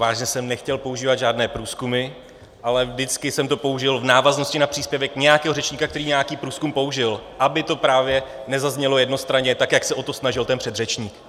Vážně jsem nechtěl používat žádné průzkumy, ale vždycky jsem to použil v návaznosti na příspěvek nějakého řečníka, který nějaký průzkum použil, aby to právě nezaznělo jednostranně, tak jak se o to snažil ten předřečník.